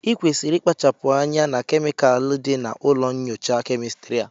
ị kwesịrị ịkpachapụ anya na kemikal dị na ụlọ nyocha kemịstri a!